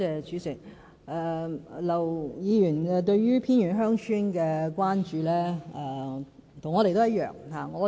主席，劉議員對於偏遠鄉村的關注與我們一樣。